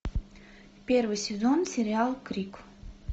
первый сезон сериал крик